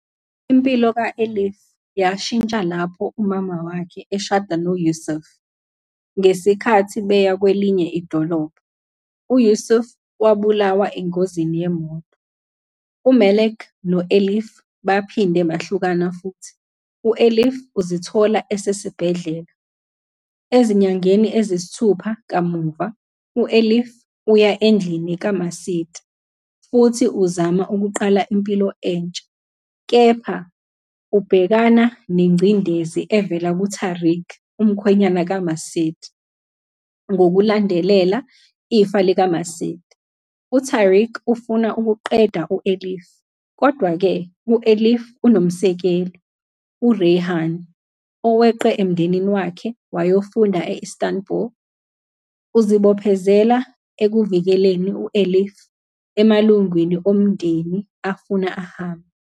Impilo ka-Elif iyashintsha lapho umama wakhe eshada noYusuf. Ngesikhathi beya kwelinye idolobha, uYusuf ubulawa engozini yemoto. UMelek no-Elif baphinde bahlukana futhi u-Elif uzithola esesibhedlela. Ezinyangeni eziyisithupha kamuva, u-Elif uya endlini kaMacide futhi uzama ukuqala impilo entsha, kepha ubhekana nengcindezi evela kuTarik, umkhwenyana kaMacide. Ngokulandela ifa likaMacide, uTarik ufuna ukuqeda u-Elif. Kodwa-ke, u-Elif unomsekeli, uReyhan, oweqe emndenini wakhe wayofunda e-Istanbul. Uzibophezela ekuvikeleni u-Elif emalungwini omndeni afuna ahambe.